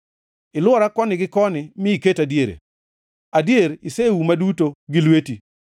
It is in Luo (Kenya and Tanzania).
Ilwora koni gi koni mi iketa diere; adier, iseuma duto gi lweti.